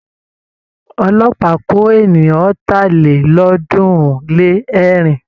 Ọlọ́pàá kó ènìyàn ọ̀tàlélọ́ọ̀ọ́dúnrún-lé-ẹ̀rin.